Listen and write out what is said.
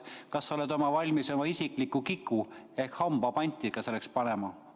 Kas sa oled valmis oma isikliku kiku ehk hamba selleks panti panema?